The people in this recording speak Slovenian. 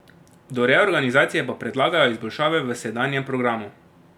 Do reorganizacije pa predlagajo izboljšave v sedanjem programu.